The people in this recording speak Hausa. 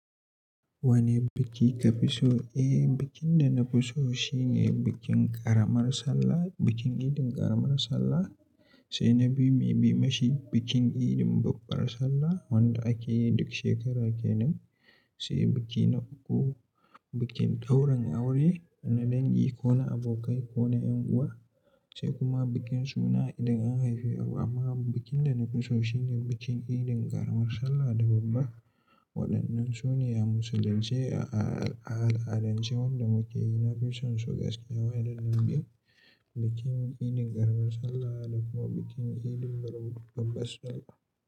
Wane biki kafi so? Eh, bikin da na fi so shine bikin ƙaramar sallah, bikin idin ƙaramar sallah, sai na biyu mai mamashi bikin irin babbar sallah wanda ake yi duk shekara kenan, sai biki na uku bikin dauran aure na dangi ko na abokai ko na ƴan uwa, sai kuma bikin suna idan an haifi ɗa. Amma bikin da na fi so shine bikin idin ƙaramar sallah da babba. Waɗannan su ne a musulunce a al'adance wanda muke yi, na fi son su gaskiya waɗannan biyu, bikin irin ƙaramar sallah da kuma bikin idrin babbar sallah.